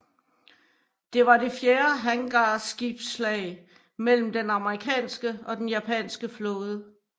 Det var det fjerde hangarskibsslag mellem den amerikanske og den japanske flåde